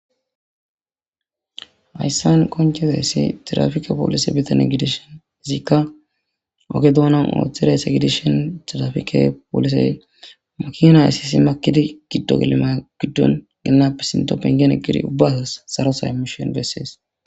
Hayssan qoncozaysi tiraafike police butane gidishin izika oge dunan uttidi Gidishin Tirafike follise Makina essisi makidi gido gelli makinape pengen eqidi Uba asas sarotha imoshe beses